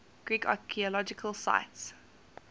greek archaeological sites